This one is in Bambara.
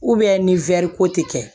ni wɛri ko tɛ kɛ